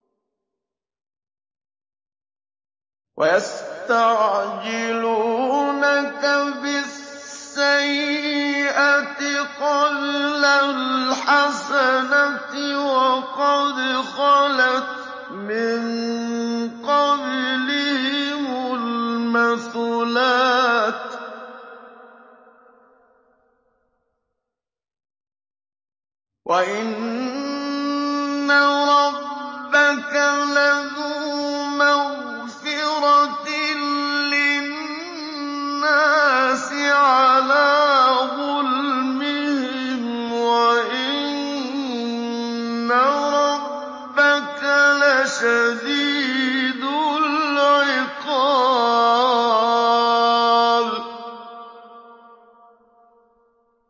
وَيَسْتَعْجِلُونَكَ بِالسَّيِّئَةِ قَبْلَ الْحَسَنَةِ وَقَدْ خَلَتْ مِن قَبْلِهِمُ الْمَثُلَاتُ ۗ وَإِنَّ رَبَّكَ لَذُو مَغْفِرَةٍ لِّلنَّاسِ عَلَىٰ ظُلْمِهِمْ ۖ وَإِنَّ رَبَّكَ لَشَدِيدُ الْعِقَابِ